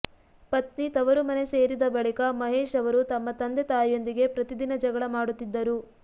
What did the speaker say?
ಪತ್ನಿ ತವರು ಮನೆ ಸೇರಿದ ಬಳಿಕ ಮಹೇಶ್ ಅವರು ತಮ್ಮ ತಂದೆ ತಾಯಿಯೊಂದಿಗೆ ಪ್ರತಿದಿನ ಜಗಳ ಮಾಡುತ್ತಿದ್ದರು